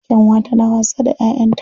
Kyanwa tana wasa da 'ya'yanta